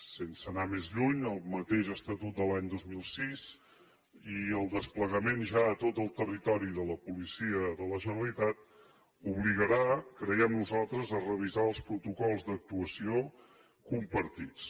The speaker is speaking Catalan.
sense anar més lluny el mateix estatut de l’any dos mil sis i el desplegament ja a tot el territori de la policia de la generalitat obligarà creiem nosaltres a revisar els protocols d’actuació compartits